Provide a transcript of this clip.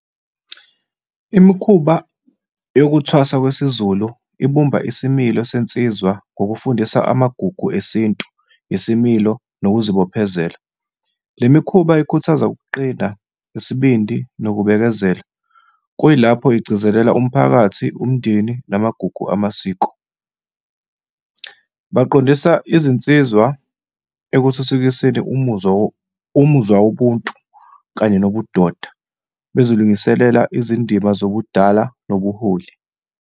Imikhuba yokuthwasa kwesiZulu ibumba isimilo sensizwa ngokufundisa amagugu esintu, isimilo, nokuzibophezela. Le mikhuba ikhuthaza ukuqina isibindi nokubekezela, kuyilapho igcizelela umphakathi, umndeni namagugu amasiko. Baqondisa izinsizwa ekuthuthukiseni umuzwa , umuzwa wobuntu kanye lobudoda, bezilungiselele izindima zobudala nobuholi.